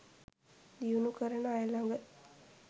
දියුණු කරන අය ලග